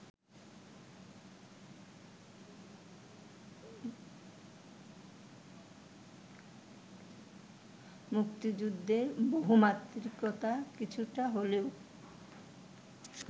মুক্তিযুদ্ধের বহুমাত্রিকতা কিছুটা হলেও